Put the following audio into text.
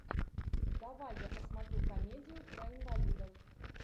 давай я посмотрю комедию про инвалидов